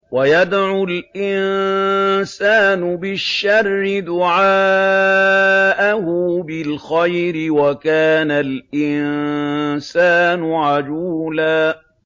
وَيَدْعُ الْإِنسَانُ بِالشَّرِّ دُعَاءَهُ بِالْخَيْرِ ۖ وَكَانَ الْإِنسَانُ عَجُولًا